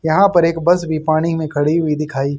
यहां पर एक बस भी पानी में खड़ी हुई दिखाई--